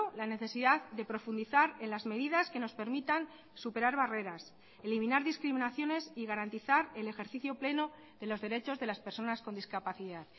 la necesidad de profundizar en las medidas que nos permitan superar barreras eliminar discriminaciones y garantizar el ejercicio pleno de los derechos de las personas con discapacidad